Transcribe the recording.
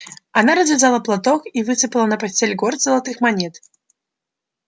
она развязала платок и высыпала на постель горсть золотых монет